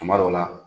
Tuma dɔw la